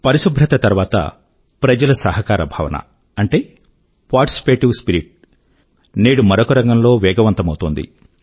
పరిశుభ్రత తర్వాత ప్రజల సహకార భావన అంటే పార్టిసిపేటివ్ స్పిరిట్ నేడు మరొక రంగం లో వేగవంతమవుతోంది